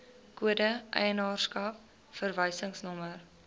kode eienaarskap verwysingsnommer